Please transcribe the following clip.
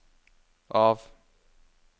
av